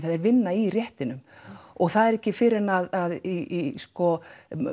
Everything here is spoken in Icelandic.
þeir vinna í réttinum og það er ekki fyrr en að í sko